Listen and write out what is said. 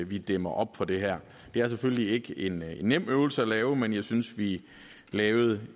vi dæmmer op for det her det er selvfølgelig ikke en nem øvelse at lave men jeg synes vi lavede